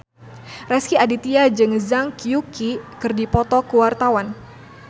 Rezky Aditya jeung Zhang Yuqi keur dipoto ku wartawan